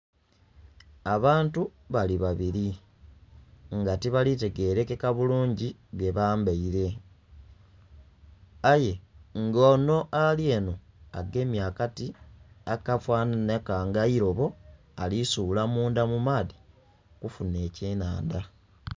Abantu bali babili nga tibali tegelekeka bulungi byebambaile. Aye ng'onho ali enho agemye akati akafanhanhika ng'eilobo, ali suula mundha mu maadhi okufunha ekyenandha.